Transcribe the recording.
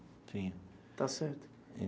Tinha...Está certo.